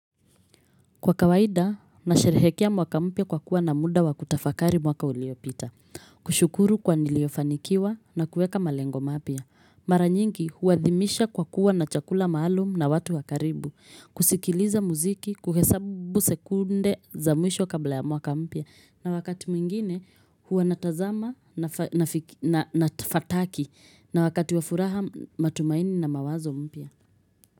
Kwa kawaida, nasherehekea mwaka mpya kwa kuwa na muda wakutafakari mwaka uliopita. Kushukuru kwa niliyofanikiwa na kuweka malengo mapya. Mara nyingi, huthimisha kwa kuwa na chakula maalum na watu wakaribu. Kusikiliza muziki, kuhesabu sekunde za mwisho kabla ya mwaka mpya. Na wakati mwingine, huwa natazama na fataki. Na wakati wafuraha matumaini na mawazo mpya.